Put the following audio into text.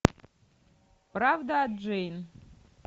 правда о джейн